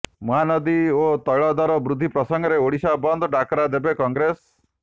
ମହାନଦୀ ଓ ତ୘ଳ ଦର ବୃଦ୍ଧି ପ୍ରସଙ୍ଗରେ ଓଡ଼ିଶା ବନ୍ଦ ଡାକରା ଦେବ କଂଗ୍ରେସ